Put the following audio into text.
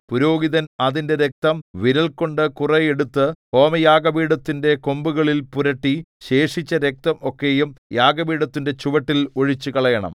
പുരോഹിതൻ അതിന്റെ രക്തം വിരൽകൊണ്ട് കുറെ എടുത്തു ഹോമയാഗപീഠത്തിന്റെ കൊമ്പുകളിൽ പുരട്ടി ശേഷിച്ച രക്തം ഒക്കെയും യാഗപീഠത്തിന്റെ ചുവട്ടിൽ ഒഴിച്ചുകളയണം